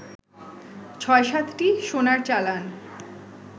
৬-৭টি সোনার চালান